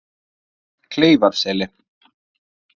Kleifarseli